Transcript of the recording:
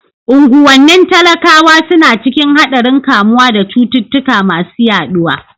Unguwannin talakawa suna cikin haɗarin kamuwa da cututtuka masu yaɗuwa.